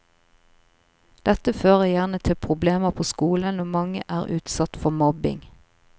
Dette fører gjerne til problemer på skolen, og mange er utsatt for mobbing.